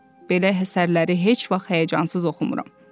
belə əsərləri heç vaxt həyəcansız oxumuram.